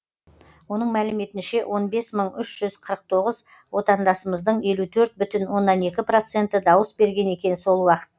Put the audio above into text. оның мәліметінше он бес мың үш жүз қырық тоғыз отандасымыздың елу төрт бүтін оннан екі проценті дауыс берген екен сол уақытта